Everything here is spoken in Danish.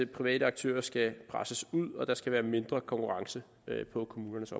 private aktører skal presses ud og der skal være mindre konkurrence på kommunernes